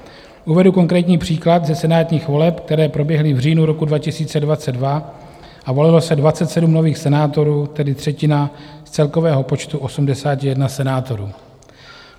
Uvedu konkrétní příklad ze senátních voleb, které proběhly v říjnu roku 2022, a volilo se 27 nových senátorů, tedy třetina z celkového počtu 81 senátorů.